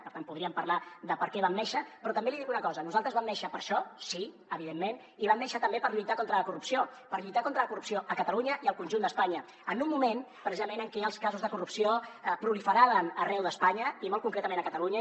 per tant podríem parlar de per què vam néixer però també li dic una cosa nosaltres vam néixer per a això sí evidentment i vam néixer també per lluitar contra la corrupció per lluitar contra la corrupció a catalunya i al conjunt d’espanya en un moment precisament en què els casos de corrupció proliferaven arreu d’espanya i molt concretament a catalunya